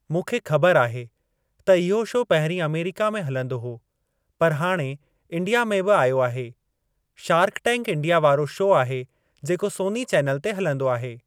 मूंखे ख़बर आहे त इहो शो पहिरीं अमेरिका में हलंदो हो पर हाणे इण्डिया में बि आयो आहे। शार्क टैंक इण्डिया वारो शो आहे जेको सोनी चैनल ते हलंदो आहे।